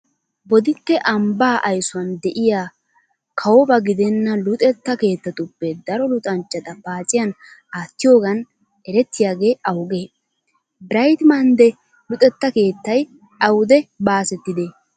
Bodditte ambbaa aysuwan de'iya kawoba gidenna luxetta keettatuppe daro luxanchchata paaciyan aattiyogan erettiyagee awugee? Birayt maynd ee luxetta keettay awude baasettidee?